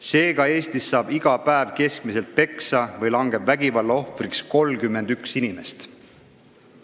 Seega, keskmiselt saab Eestis iga päev peksa või langeb muul viisil vägivalla ohvriks 31 inimest.